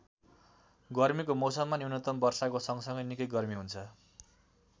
गर्मीको मौसममा न्यूनतम वर्षाको सँगसँगै निकै गर्मी हुन्छ।